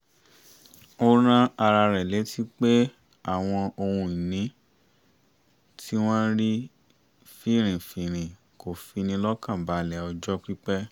ó rán ara rẹ̀ létí pé àwọn ohun ìní tí wọ́n rí finrinfinrin kò fi ni lọ́kànbalẹ̀ ọjọ́ pípẹ́